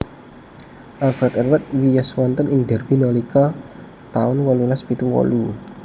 Alfred Edward wiyos wonten ing Derby nalika taun wolulas pitu wolu